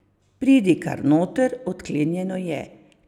Pridi kar noter, odklenjeno je.